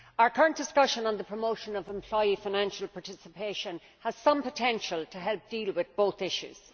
Our current discussion on the promotion of employee financial participation has some potential to help deal with both issues.